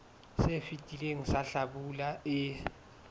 se fetileng sa hlabula e